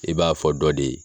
E b'a fɔ dɔ de ye